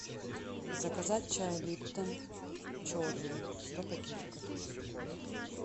заказать чай липтон черный сто пакетиков